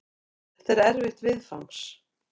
Þetta er erfitt viðfangs.